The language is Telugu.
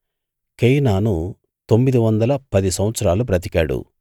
కేయినాను తొమ్మిది వందల పది సంవత్సరాలు బ్రతికాడు